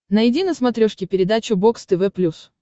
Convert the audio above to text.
найди на смотрешке передачу бокс тв плюс